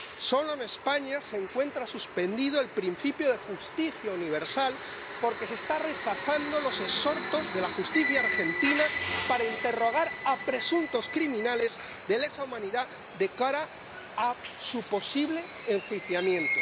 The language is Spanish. Solo en España se encuentra suspendido el principio de justicia universal, porque se están rechazando los exhortos de la justicia argentina para interrogar a presuntos criminales de lesa humanidad de cara a su posible enjuiciamiento.